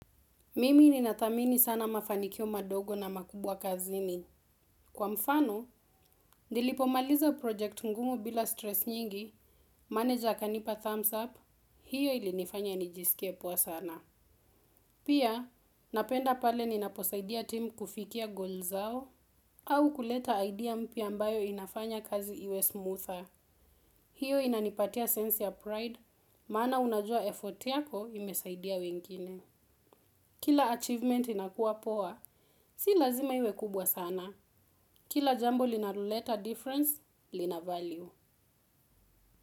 Mimi ninathamini sana mafanikio madogo na makubwa kazini. Kwa mfano, nilipomaliza project ngumu bila stress nyingi, manager akanipa thumbs up, hiyo ilinifanya nijisikie poa sana. Pia, napenda pale ninaposaidia timu kufikia goals zao, au kuleta idea mpya ambayo inafanya kazi iwe smoother. Hiyo inanipatia sense ya pride, maana unajua effort yako imesaidia wengine. Kila achievement inakuwa poa, si lazima iwe kubwa sana. Kila jambo linaloleta difference, lina value.